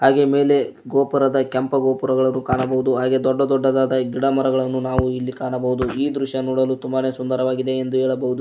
ಹಾಗೆ ಮೇಲೆ ಗೋಪುರದ ಕೆಂಪ ಗೋಪುರಗಳು ಕಾಣಬೋದು ಹಾಗೆ ದೊಡ್ಡ ದೊಡ್ಡದಾದ ಗಿಡ ಮರಗಳನ್ನು ನಾವು ಇಲ್ಲಿ ಕಾಣಬೋದು ಈ ದೃಶ್ಯ ನೋಡಲು ತುಂಬಾನೆ ಸುಂದರವಾಗಿದೆ ಎಂದು ಹೇಳಬೋದು.